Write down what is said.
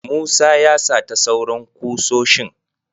Musa ya sata sauran kusoshin.